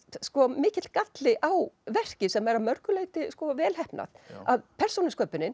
mikill galli á verki sem er að mörgu leyti vel heppnað að persónusköpunin